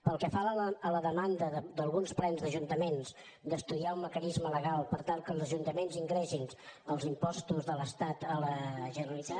pel que fa a la demanda d’alguns plens d’ajuntaments d’estudiar un mecanisme legal per tal que els ajuntaments ingressin els impostos de l’estat a la generalitat